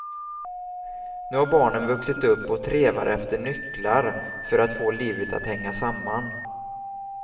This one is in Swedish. Nu har barnen vuxit upp och trevar efter nycklar för att få livet att hänga samman.